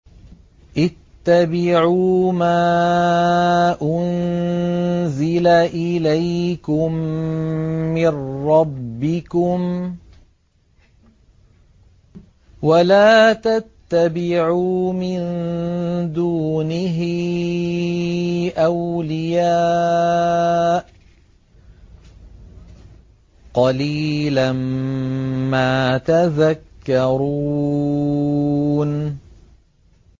اتَّبِعُوا مَا أُنزِلَ إِلَيْكُم مِّن رَّبِّكُمْ وَلَا تَتَّبِعُوا مِن دُونِهِ أَوْلِيَاءَ ۗ قَلِيلًا مَّا تَذَكَّرُونَ